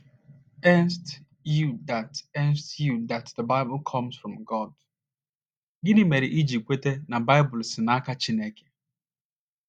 nced you that nced you that the Bible comes from God? Gịnị mere iji kweta na Baịbụl si n’aka Chineke?